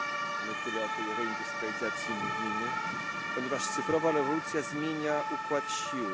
A my tyle o tej reindustrializacji mówimy, ponieważ cyfrowa rewolucja zmienia układ sił.